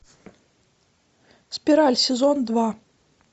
спираль сезон два